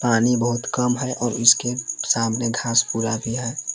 पानी बहुत कम है और इसके सामने घास पुअरा भी है।